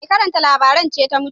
Mai karanta labaran ce ta mutu